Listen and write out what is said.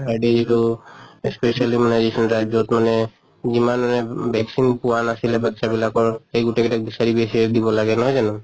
per day যিটো specially মানে যি খিনি ৰাজ্য়ত মানে যিমান মানে vaccine পোৱা নাছিলে বাচ্ছা বিলাকৰ সেই গোটেই গিতাক বিচাৰি দিব লাগে নহয় জানো?